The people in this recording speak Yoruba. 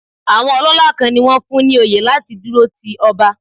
Àwọn ọlọ́lá kan ni wón fún ní oyè láti dúró ti ọba.